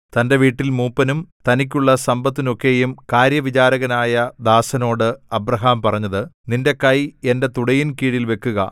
തന്റെ വീട്ടിൽ മൂപ്പനും തനിക്കുള്ള സമ്പത്തിനൊക്കെയും കാര്യവിചാരകനായ ദാസനോട് അബ്രാഹാം പറഞ്ഞത് നിന്റെ കൈ എന്റെ തുടയിൻകീഴിൽ വെക്കുക